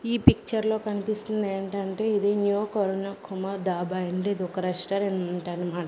ఈ పిక్చర్ లో కనిపిస్తుంది ఏంటంటే ఇది న్యూ కొరునాకొమ డాబా అండ్ ఇదొక రెస్టారెంటన్మా --